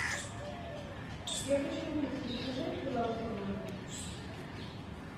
я хочу напитки закажи их пожалуйста в номер